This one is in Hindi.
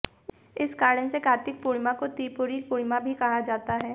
इसी कारण से कार्तिक पूर्णिमा को त्रिपुरी पूर्णिमा भी कहा जाता है